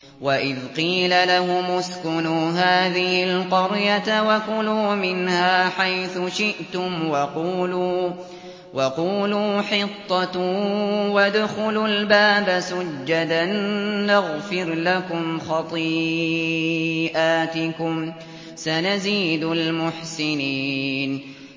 وَإِذْ قِيلَ لَهُمُ اسْكُنُوا هَٰذِهِ الْقَرْيَةَ وَكُلُوا مِنْهَا حَيْثُ شِئْتُمْ وَقُولُوا حِطَّةٌ وَادْخُلُوا الْبَابَ سُجَّدًا نَّغْفِرْ لَكُمْ خَطِيئَاتِكُمْ ۚ سَنَزِيدُ الْمُحْسِنِينَ